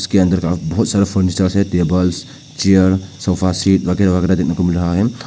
इसके अंदर का बहुत सारा फर्नीचर है टेबल्स चेयर्स सोफा सीट्स वगैरह वगैरह देखने को मिल रहा है।